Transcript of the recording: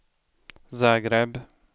Zagreb